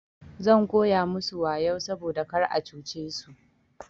Zan koya musu wayau saboda kar a cuce su.